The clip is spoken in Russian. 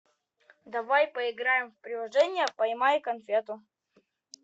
давай поиграем в приложение поймай конфету